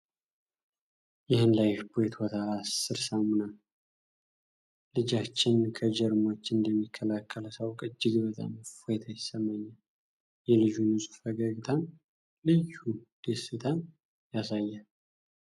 ይህን 'ላይፍቦይ ቶታል 10' ሳሙና ልጃችን ከጀርሞች እንደሚከላከል ሳውቅ እጅግ በጣም እፎይታ ይሰማኛል ! የልጁ ንጹህ ፈገግታም ልዩ ደስታን ያሳያል!